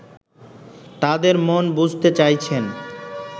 তাদের মন বুঝতে চাইছেন